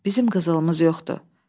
Bizim qızılımız yoxdur.